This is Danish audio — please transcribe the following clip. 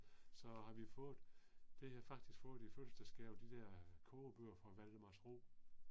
Så har vi fået, det har jeg faktisk fået i fødselsdagsgave, de der kogebøger fra Valdemarsro